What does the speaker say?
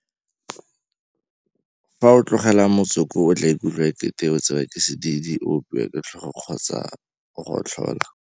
Fa o sena go tlogela motsoko o tla ikutlwa ekete o tsewa ke sedidi, o opiwa ke tlhogo kgotsa o gotlhola.